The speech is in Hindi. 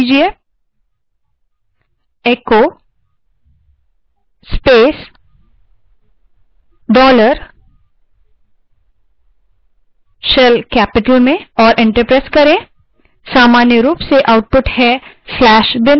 terminal पर जाएँ और command echo space dollar in capital shell type करें और enter दबायें